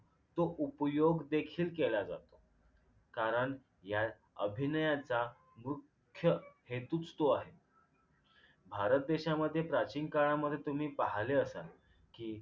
तो उपयोग देखील केला जातो कारण या अभिनयाचा मुख्य हेतूच तो आहे भारत देशामध्ये प्राचीन काळामध्ये तुम्ही पाहिले असाल कि